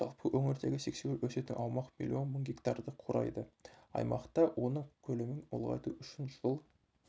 жалпы өңірдегі сексеуіл өсетін аумақ миллион мың гектарды құрайды аймақта оның көлемін ұлғайту үшін жыл